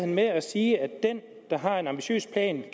med at sige at den der har en ambitiøs plan